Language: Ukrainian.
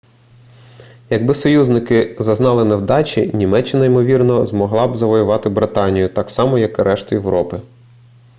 якби союзники зазнали невдачі німеччина ймовірно змогла б завоювати британію так само як і решту європи